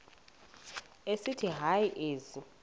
esithi hayi ezi